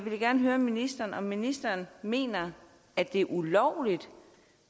vil jeg gerne høre ministeren om ministeren mener at det er ulovligt